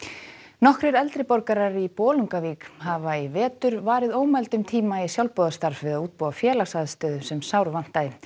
nokkrir eldri borgarar í Bolungarvík hafa í vetur varið ómældum tíma í sjálfboðastarf við að útbúa félagsaðstöðu sem sárvantaði